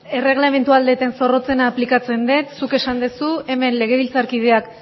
erreglamendua ahal dudan zorrotzena aplikatzen dut zuk esan duzu hemen legebiltzarkideak